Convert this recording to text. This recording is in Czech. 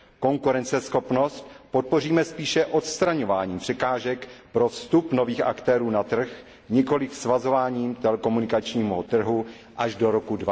Konkurenceschopnost podpoříme spíše odstraňováním překážek pro vstup nových aktérů na trh, nikoliv svazováním telekomunikačního trhu až do roku